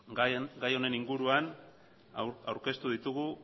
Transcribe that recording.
gai honen inguruan aurkeztu ditugu